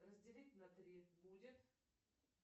разделить на три будет